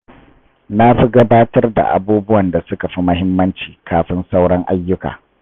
Na fi gabatar da abubuwan da suka fi muhimmanci kafin sauran ayyuka.